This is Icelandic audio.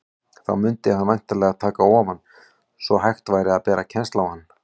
Þá mundi hann væntanlega taka ofan, svo hægt væri að bera kennsl á hann.